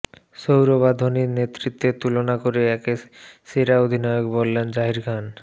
সৌরভ আর ধোনির নেতৃত্বের তুলনা করে একে সেরা অধিনায়ক বললেন জাহির খান